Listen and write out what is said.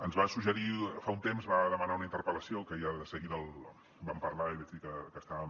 ens va suggerir fa un temps va demanar una interpel·lació que ja de seguida vam parlar i vaig dir que estàvem